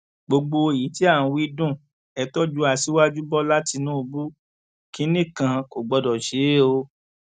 gbogbo èyí tí à ń wí dùn ẹ tọjú aṣíwájú bọlá tìǹbù kínní kan kò gbọdọ ṣe é o